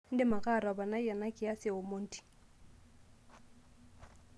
idim ake atoponai ena kias e Omondi